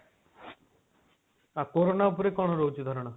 ହଁ କୋରୋନା ଉପରେ କଣ ରହୁଛି ଧାରଣା?